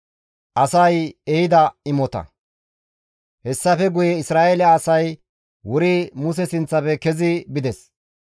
Hessafe guye Isra7eele asay wuri Muse sinththafe kezi bides.